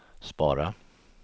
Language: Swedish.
spara